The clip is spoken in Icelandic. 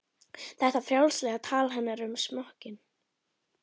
Þetta frjálslega tal hennar um smokkinn?